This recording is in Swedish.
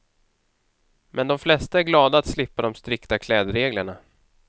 Men de flesta är glada att slippa de strikta klädreglerna.